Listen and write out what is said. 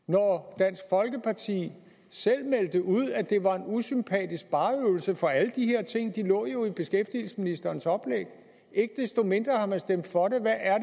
når dansk folkeparti selv meldte ud at det var en usympatisk spareøvelse for alle de her ting lå jo i beskæftigelsesministerens oplæg ikke desto mindre har man stemt for det hvad er